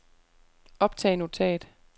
optag notat